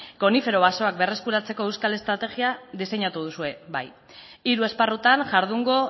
konifero basoak berreskuratzeko euskal estrategia diseinatu duzue bai hiru esparrutan jardungo